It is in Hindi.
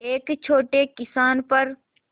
एक छोटे किसान पर